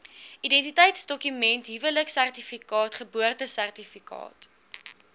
identiteitsdokument huweliksertifikaat geboortesertifikaat